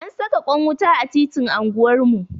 An saka kwan wuta a titinan anguwar mu.